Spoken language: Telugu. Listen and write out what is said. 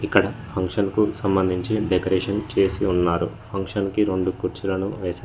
ఇక్కడ ఫంక్షన్కు సంబంధించి డెకరేషన్ చేసి ఉన్నారు ఫంక్షన్ కి రెండు కుర్చీలను వేశారు.